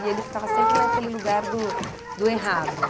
E ele ficava sempre naquele lugar do do errado.